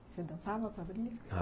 Você dançava, quadrilha?